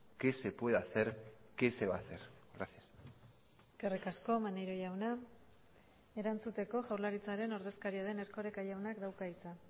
qué se puede hacer qué se va a hacer gracias eskerrik asko maneiro jauna erantzuteko jaurlaritzaren ordezkaria den erkoreka jaunak dauka hitza